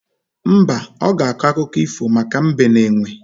Mba, ọ ga-akọ akụkọ ifo maka Mbe na Enwe